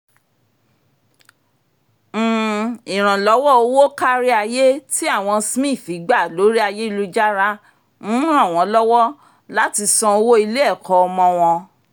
um ìrànlọ́wọ́ owó kárí ayé tí àwọn smith gba lórí ayélujára um ran wọ́n lọ́wọ́ láti san owó ilé-ẹ̀kọ́ ọmọ wọn